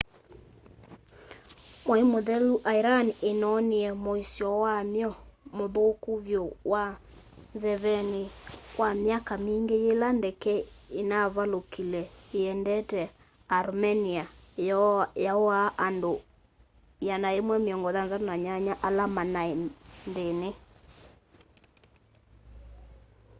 mwai mũthelu iran inonie muisyo wamyo muthuku vyu wa nzeveni kwa myaka mingi yila ndeke inaavalukile iendete armenia yauaa andu 168 ala manai nthini